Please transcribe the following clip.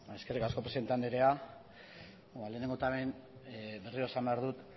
eskerrik asko presidente andrea lehenengo eta behin berriro esan behar dut